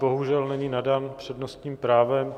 Bohužel, není nadán přednostním právem.